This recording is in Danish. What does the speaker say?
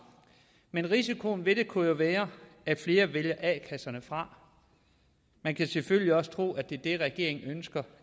men risikoen ved det kunne jo være at flere vælger a kasserne fra man kan selvfølgelig også tro at det er det regeringen ønsker